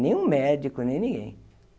Nem um médico, nem ninguém.